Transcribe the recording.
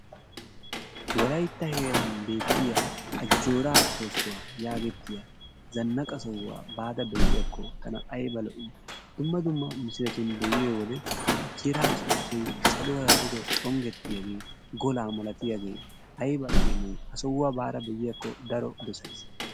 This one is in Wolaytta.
Wolaytta heeraan bettiyaa ajjoraa soosuwa yagettiya zanaqqa sohuwaa baada be'iyakko tana ayba lo'ii. Dumma dumma misiletun be'iyo wode ajjooraa sosooy saluwara duge xongettiyaagee golaa malatiyaagee aybba yemoyii. Ha sohuwaa baada be'iyaakko daro dosays.